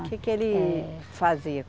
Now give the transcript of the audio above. O que que ele fazia?